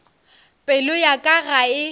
pelo ya ka ga e